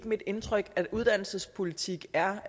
mit indtryk at uddannelsespolitik er